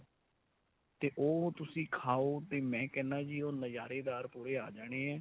ਤੇ ਉਹ ਤੁਸੀਂ ਖਾਓ ਤੇ ਮੈਂ ਕਹਿਣਾ ਜੀ ਉਹ ਨਜਾਰੇਦਾਰ ਪੂਰੇ ਆ ਜਾਣੇ ਏ.